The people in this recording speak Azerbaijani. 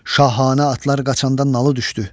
Şahanə atlar qaçanda nalı düşdü.